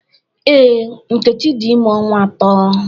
Ee, Nkechi dị ime ọnwa ato